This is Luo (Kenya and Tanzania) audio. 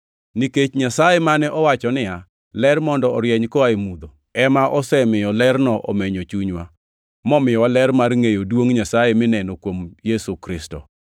Nikech Nyasaye mane owacho niya, “Ler mondo orieny koa e mudho” + 4:6 \+xt Chak 1:3\+xt* ema osemiyo lerne omenyo chunywa, momiyowa ler mar ngʼeyo duongʼ Nyasaye mineno kuom Yesu Kristo.